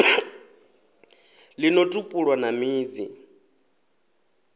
ḽi no tupula na midzi